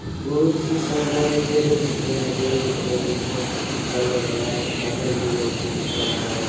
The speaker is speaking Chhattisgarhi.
बहुत ही शानदार ये जगह दिख रहा है जल एकदम मस्त दिख रहा है लग रहा है बादल भी मस्त दिख रहा है।